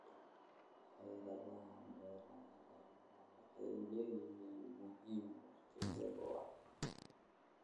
Xeeladaha beeraha ee waara waxay leeyihiin muhiimad waqti dheer ah.